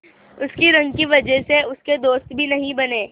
उसकी रंग की वजह से उसके दोस्त भी नहीं बने